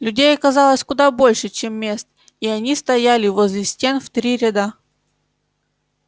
людей оказалось куда больше чем мест и они стояли возле стен в три ряда